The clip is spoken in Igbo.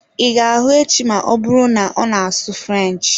I ga hụ echi ma ọbụrụ na-ona asụ french